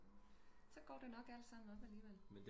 Så går det nok alt sammen nok alligevel